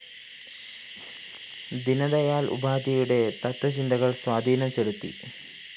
ദീനദയാല്‍ ഉപാധ്യായുടെ തത്വചിന്തകള്‍ സ്വാധീനം ചെലുത്തി